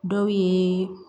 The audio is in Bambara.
Dɔw ye